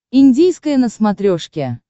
индийское на смотрешке